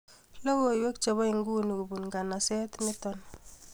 Logoiwek chebo nguni kobun nganaset nito